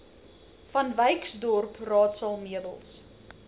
vanwyksdorp raadsaal meubels